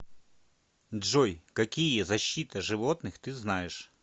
джой какие защита животных ты знаешь